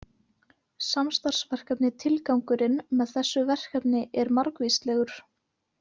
Samstarfsverkefni Tilgangurinn með þessu verkefni er margvíslegur.